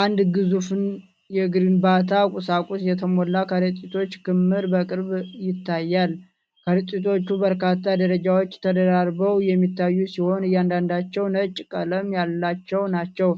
አንድ ግዙፍ የግንባታ ቁሳቁስ የተሞላ ከረጢቶች ክምር በቅርበት ይታያል። ከረጢቶቹ በበርካታ ደረጃዎች ተደራርበው የሚታዩ ሲሆን፣ እያንዳንዳቸው ነጭ ቀለም ያላቸው ናቸው።